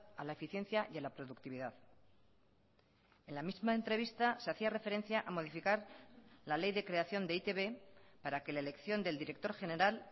a la eficiencia y a la productividad en la misma entrevista se hacía referencia a modificar la ley de creación de e i te be para que la elección del director general